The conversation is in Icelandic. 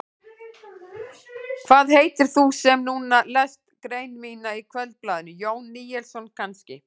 Hvað heitir þú sem núna lest grein mína í Kvöldblaðinu, Jón Níelsson kannski?